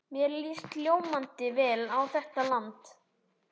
Mér líst ljómandi vel á þetta land.